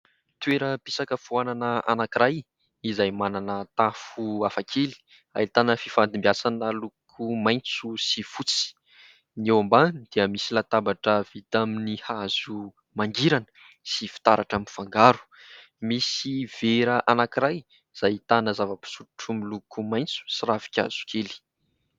toeram- pisakafoanana anankiray izay manana tafo hafakely ahitana fifandimbiasana loko maintso sy fotsy ny eo ambany dia misy latabatra vita amin'ny hazo mangirana sy fitaratra mivangaro. Misy vera anankiray izay ahitana zava-pisotro miloko maintso sy ravi-kazo kely.